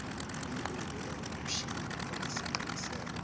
umqulu ohunyushiwe onesiqiniseko